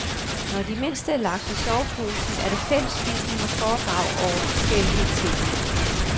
Når de mindste er lagt i soveposen, er der fællesspisning og foredrag over forskellige temaer.